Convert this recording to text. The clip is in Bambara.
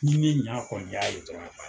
Ni ne ɲa kɔni y'a ye dɔrɔnw.